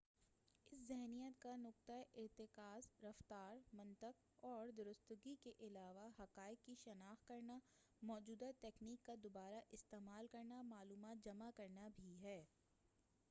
اس ذہنیت کا نقطہ ارتکاز رفتار منطق اور درستگی کے علاوہ حقائق کی شناخت کرنا موجودہ تکنیک کا دوبارہ استعمال کرنا معلومات جمع کرنا بھی ہے